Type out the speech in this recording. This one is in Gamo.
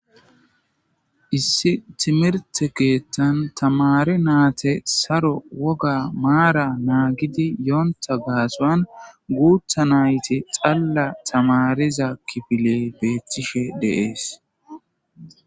Issi timirte keettan tamare naate saro woga maara naagidi yoonta gaasoan guutha nayti xalla tamariza kifiley beethtishe dees.